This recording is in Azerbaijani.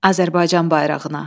Azərbaycan bayrağına.